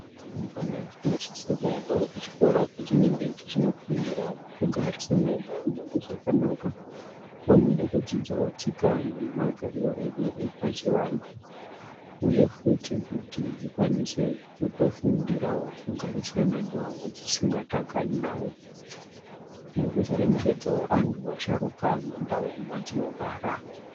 Rumbwana dzinosise kuendawo kuchikora kwedzinenge dzichinofundira kugarisana neamweni zvakanaka, pamwe nekudzidzawo tsika nemagariro edu epachivanhu, uye futi kuti dzikwanise kutofundirawo kugarisana vevamwe dzisingatakani navo ,nekuzoremekedzawo anhu asharuka mundau madzinogara.